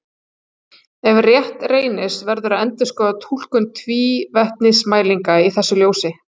Ef rétt reynist verður að endurskoða túlkun tvívetnismælinga í þessu ljósi.